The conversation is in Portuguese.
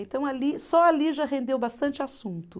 Então ali, só ali já rendeu bastante assunto.